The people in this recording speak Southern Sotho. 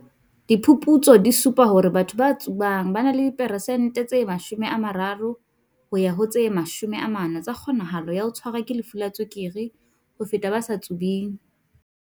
"Diphuputso di supa hore batho ba tsubang ba na le di peresente tse 30 ho ya ho 40 tsa kgonahalo ya ho tshwarwa ke lefu la tswekere ho feta ba sa tsubeng."